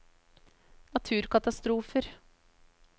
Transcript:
naturkatastrofer